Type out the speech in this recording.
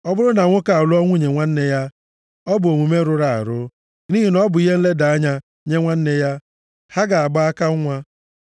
“ ‘Ọ bụrụ na nwoke alụọ nwunye nwanne ya, ọ bụ omume rụrụ arụ, nʼihi na ọ bụ ihe nleda anya nye nwanne ya. Ha ga-agba aka nwa.